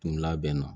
Tun labɛnna